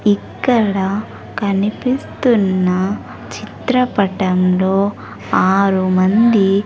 ఇక్కడ కనిపిస్తున్న చిత్రపటంలో ఆరుమంది.